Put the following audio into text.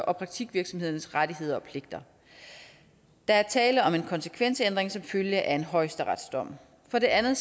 og praktikvirksomhedernes rettigheder og pligter der er tale om en konsekvensændring som følge af en højesteretsdom for det anden